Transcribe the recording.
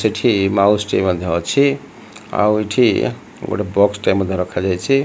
ସେଠି ମାଉସିଟେ ମଧ୍ୟ ଅଛି ଆଉ ଏଠି ଗୋଟେ ବସ୍ ମଧ୍ୟ ରଖାଯାଇଛି।